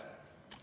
Aeg!